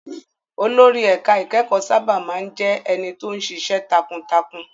Olórí ẹ̀ka ìkẹ́kọ̀ọ́ sábà má ń jẹ́ ẹni tó ń ṣiṣẹ́ takuntakun.